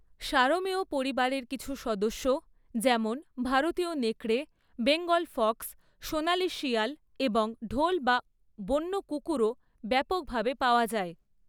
সারমেয় পরিবারের কিছু সদস্য যেমন ভারতীয় নেকড়ে, বেঙ্গল ফক্স, সোনালি শিয়াল এবং ঢোল বা বন্য কুকুরও ব্যাপকভাবে পাওয়া যায়।